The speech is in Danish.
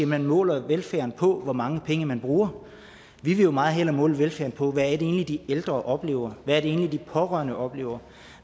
man måler velfærden på hvor mange penge man bruger vi vil jo meget hellere måle velfærden på hvad det egentlig er de ældre oplever hvad de pårørende oplever